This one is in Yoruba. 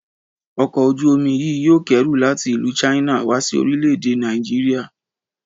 Ọkọ̀ ojú-omi yìí yóò kẹ́rù láti ìlú China wá sí orílè-èdè Nàìjíríà